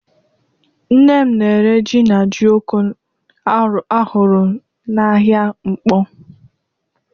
Nne m na-ere jí na jioko a rụrụ n'ahịa Nkpọ.